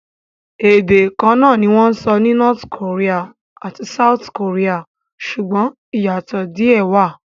Ède kan náà ni wọ́n sọ ní North Korea àti South Korea, ṣùgbọ́n ìyàtò díè wà.